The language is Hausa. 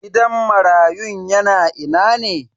Gidan marayun yana ina ne?